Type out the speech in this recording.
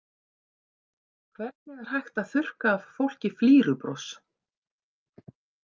Hvernig er hægt að þurrka af fólki flírubros?